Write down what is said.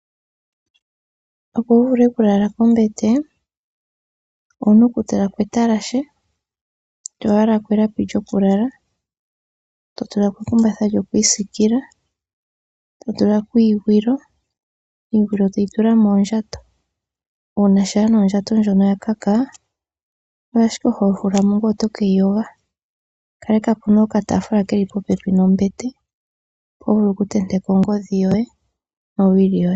Opo wuvule okulala kombete owuna okutulako etalashe toyalako elapi lyokulala totulako ekumbatha lyokwiisikila totulako iigwilo iigwilo toyitula moondjato. Uuna shaa nee ondjato ndjono yakaka oyo ashike ho hulamo ngweye otokeyiyoga. Kalekapo nee okataafula keli popepi nombete mpo hovulu okutenteka ongodhi yoye nowili yoye.